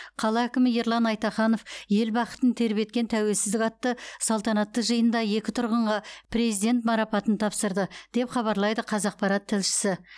қала әкімі ерлан айтаханов ел бақытын тербеткен тәуелсіздік атты салтанатты жиында екі тұрғынға президент марапатын тапсырды деп хабарлайды қазақпарат тілшісі